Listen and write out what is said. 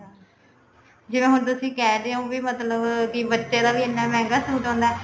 ਜਿਹੜਾ ਹੁਣ ਤੁਸੀਂ ਕਹਿ ਰਹੇ ਹੋ ਵੀ ਮਤਲਬ ਕੀ ਬੱਚੇ ਦਾ ਵੀ ਇੰਨਾ ਮਹਿੰਗਾ suit ਆਉਂਦਾ